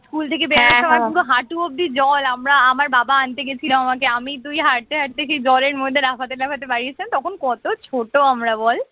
school থেকে বেরোনোর সময়ে পুরো হাঁটু অব্দি জল আমরা আমার বাবা আনতে গেছিল আমাকে, আমি তুই হাটতে হাটতে সেই জলের মধ্যে লাফাতে লাফাতে বাড়ি আসলাম তখন কত ছোট আমরা বল